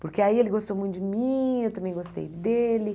Porque aí ele gostou muito de mim, eu também gostei dele.